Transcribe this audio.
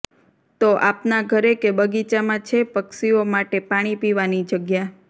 તો આપના ઘરે કે બગીચામાં છે પક્ષીઓ માટે પાણી પીવાની જગ્યા